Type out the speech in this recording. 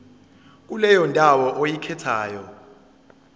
kuleyo ndawo oyikhethayo